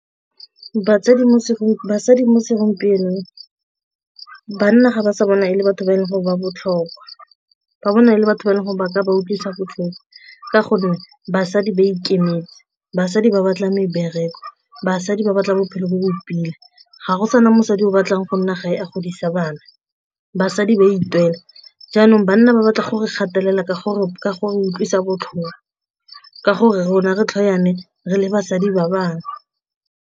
Basadi mo segompienong banna ga ba sa bona ele batho ba e leng gore ba botlhokwa ba bona e le batho ba e leng gore ba ka ba utlwisa botlhoko ka gonne basadi ba ikemetse, basadi ba batla mebereko, basadi ba batla bophelo bo bo pila ga go sana mosadi o batlang go nna ga e a godisa bana basadi ba itumela, jaanong banna ba batla gore gatelela ka gore ka go utlwisa botlhoko ka gore rona re tlhakane re le basadi ba bangwe.